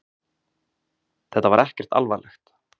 Þetta var ekkert alvarlegt